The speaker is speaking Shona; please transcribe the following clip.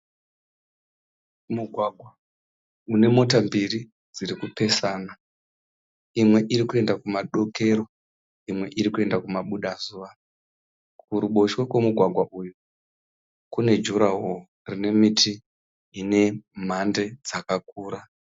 Mugwagwa une mota mbiri dzirikupesana. Imwe irikuenda kudokero imwe irikuenda kumabuda zuva. Kuruboshwe kwemugwagwa uyu kune jurahoro rine muti ine mhande dzakakura.